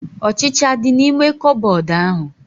Ọchịchịa adị n'ime koobodu ahu?